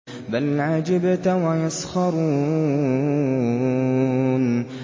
بَلْ عَجِبْتَ وَيَسْخَرُونَ